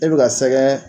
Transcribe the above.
E bɛ ka sɛgɛn